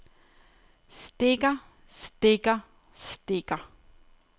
stikker stikker stikker